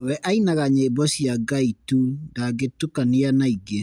We ainaga nyĩmbo cia Ngai tu ndakĩtukania naĩngĩ.